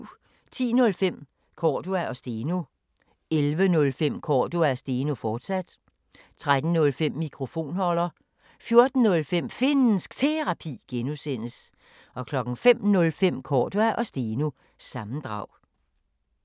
10:05: Cordua & Steno 11:05: Cordua & Steno, fortsat 13:05: Mikrofonholder 14:05: Finnsk Terapi (G) 05:05: Cordua & Steno – sammendrag